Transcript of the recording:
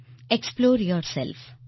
explore yourself